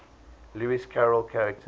lewis carroll characters